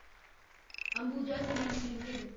Ambuja cements limited